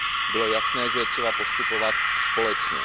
Bylo jasné, že je třeba postupovat společně.